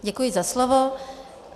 Děkuji za slovo.